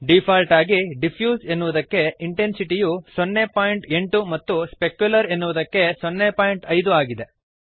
default ಆಗಿ diffuse ಎನ್ನುವುದಕ್ಕೆ intensity ಯು 08 ಮತ್ತು ಸ್ಪೆಕ್ಯುಲರ್ ಎನ್ನುವುದಕ್ಕೆ 05 ಆಗಿದೆ